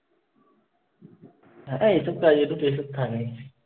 না। এসব কাজ এতো pressure থাকেই।